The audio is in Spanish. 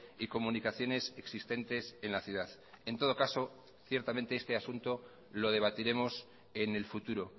y comunicaciones existentes en la ciudad en todo caso ciertamente este asunto lo debatiremos en el futuro